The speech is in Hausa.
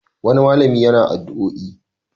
Wani malami yana addu'oi.